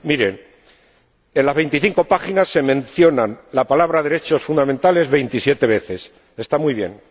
Miren, en las 25 páginas se mencionan las palabras derechos fundamentales 27 veces ―está muy bien―